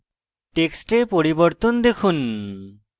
টেক্সটে পরিবর্তন দেখুন